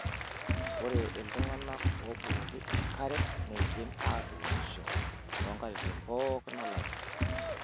Ore tooltung'anak obukoki enkare neidim atunishoto too nkatitin pooki olari.